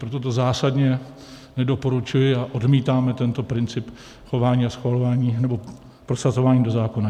Proto to zásadně nedoporučuji a odmítáme tento princip chování a schvalování, nebo prosazování do zákona.